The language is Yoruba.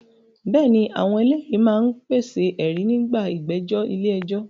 Bẹ́ẹ̀ ni, àwọn ẹlẹ́rìí máa ń pèsè ẹ̀rí nígbà ìgbẹ́jọ́ ilé ẹjọ́